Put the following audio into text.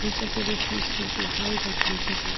Ísafjörður snýst nefnilega hægar en Keflavík!